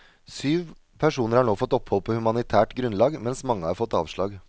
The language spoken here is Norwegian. Syv personer har nå fått opphold på humanitært grunnlag, mens mange har fått avslag.